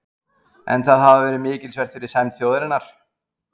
En það hafi verið mikilsvert fyrir sæmd þjóðarinnar.